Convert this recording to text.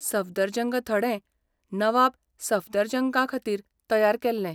सफदरजंग थडें नवाब सफदरजंगाखातीर तयार केल्लें.